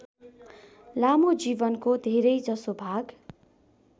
लामो जीवनको धेरैजसो भाग